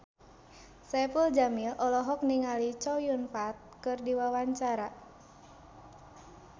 Saipul Jamil olohok ningali Chow Yun Fat keur diwawancara